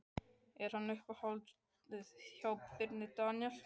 Er hann í uppáhaldi hjá Birni Daníel?